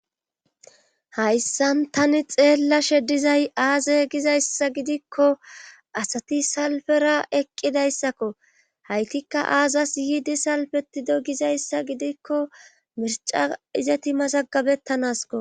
hayssan tani xeellashe dizay aaze gizayssa gidikko asati salfera eqqidayssakko haytikka aazassi yiidi salfetido gizayssa gidikko mirca izeti mazagabettanasko.